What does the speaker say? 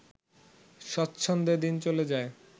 স্বচ্ছন্দে দিন চলে যায়